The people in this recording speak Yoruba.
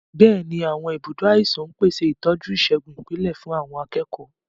Bẹ́ẹ̀ni, àwọn ibùdó àìsàn ń pèsè ìtọ́jú ìṣègùn ìpìlẹ̀ fún àwọn akẹ́kọ̀ọ́.